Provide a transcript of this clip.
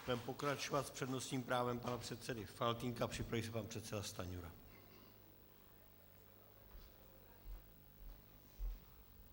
Budeme pokračovat s přednostním právem pana předsedy Faltýnka, připraví se pan předseda Stanjura.